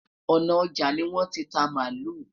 òná ọja ni won tí ta malu